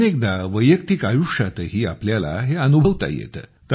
अनेकदा वैयक्तिक आयुष्यातही आपल्याला हे अनुभवता येते